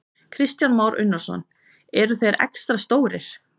Kristján Már Unnarsson: Eru þeir extra stórir?